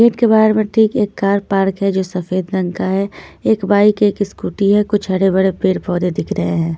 Gate के बाहर में ठीक एक कार पार्क है जो सफेद रंग का है एक बाइक है एक स्कूटी है कुछ हरे भड़े पेर पौधे दिख रहे हैं।